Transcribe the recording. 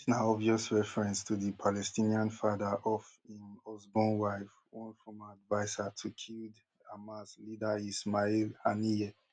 dis na obvious reference to di palestinian father of im usborn wife one former adviser to killed hamas leader ismail haniyeh